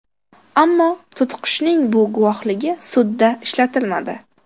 Ammo to‘tiqushning bu guvohligi sudda ishlatilmadi.